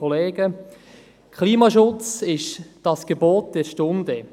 Klimaschutz ist das Gebot der Stunde.